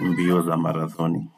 mbio za marathoni.